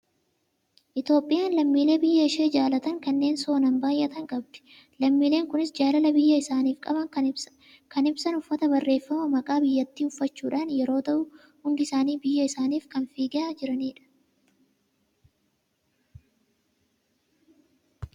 Itoophiyaan lammiilee biyya ishee jaalatan kanneen sonaan baay'atan qabdi. Lammiileen kunis jaalala biyya isaaniif qaban kan ibsan uffata barreeffama maqaa biyyattii uffachuudhaan yeroo ta'u, hundi isaanii biyya isaaniif kan fiigaa jiranidha.